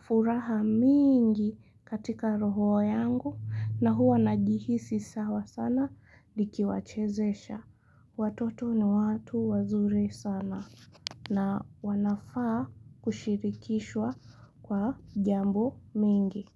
furaha mingi katika roho yangu na huwa najihisi sawa sana nikiwachezesha. Watoto ni watu wazuri sana. Na wanafaa kushirikishwa kwa jambo mingi.